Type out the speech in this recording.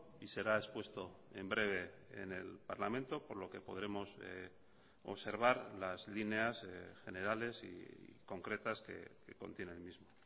y será expuesto en breve en el parlamento por lo que podremos observar las líneas generales y concretas que contiene el mismo